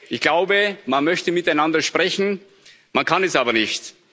Ich glaube, man möchte miteinander sprechen, man kann es aber nicht.